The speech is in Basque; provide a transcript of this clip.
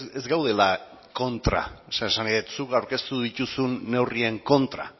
ez gaudela kontra esan nahi dut zuk aurkeztu dituzun neurrien kontra